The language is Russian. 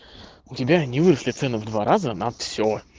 у тебя не выросли цены в два раза на все